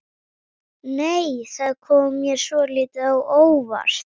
Flúðir er í Hrunamannahreppi.